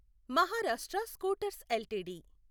Maharashtra scooters LTD